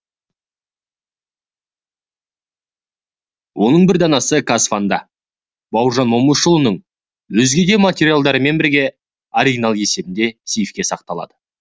оның бір данасы казфан да бауыржан момышұлының өзге материалдарымен бірге оригинал есебінде сейфте сақталады